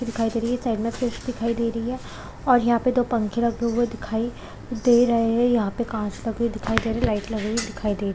दिखाई दे रही है दिखाई दे रही है और यहाँ पे दो पंखे लगे हुए दिखाई दे रहे है यहाँ पे काँच लगी हुई दिखाई दे रही है लाईट लगी दिखाई दे रही--